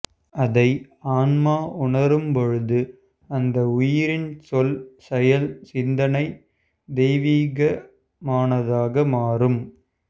அதனை ஆன்மா உணரும் பொழுது அந்த உயிரின் சொல் செயல் சிந்தனை தெய்வீகமானதாக மாறும்